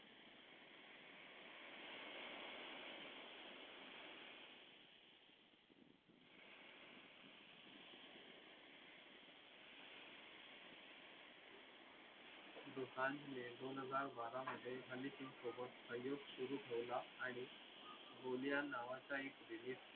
दोसांझने दोन हजार बारा मध्ये हनी सिंग सोबत सहयोग सुरु ठेवला आणि गोलियान नावाचा एक